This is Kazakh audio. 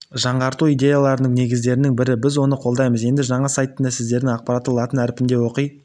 жаңғырту идеяларының негіздерінің бірі біз оны қолдаймыз енді жаңа сайтында сіздер ақпаратты латын әрпінде оқи